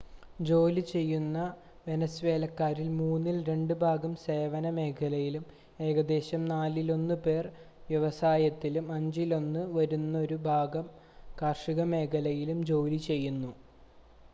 ജോലി ചെയ്യുന്ന വെനസ്വേലക്കാരിൽ മൂന്നിൽ രണ്ട് ഭാഗം സേവന മേഖലയിലും ഏകദേശം നാലിലൊന്ന് പേർ വ്യവസായത്തിലും അഞ്ചിലൊന്ന് വരുന്നൊരു ഭാഗം കാർഷിക മേഖലയിലും ജോലി ചെയ്യുന്നു